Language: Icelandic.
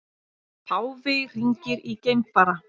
Páfi hringir í geimfara